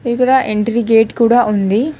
ఇక్కడ entry gate కూడా ఉంది.